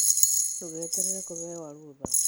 Ndũgeterere kũheyo rũtha.